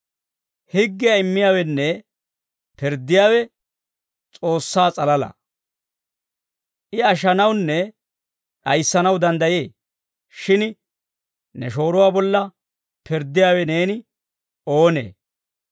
Higgiyaa immiyaawenne pirddiyaawe S'oossaa s'alalaa; I ashshanawunne d'ayissanaw danddayee; shin ne shooruwaa bolla pirddiyaawe neeni oonee?